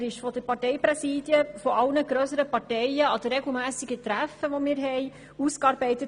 Er wurde von den Parteipräsidien aller grösseren Parteien in ihren regelmässigen Treffen ausgearbeitet.